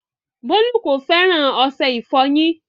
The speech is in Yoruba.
Bọlu kò fẹ́ran ọṣẹ̀-ìfọ́yin.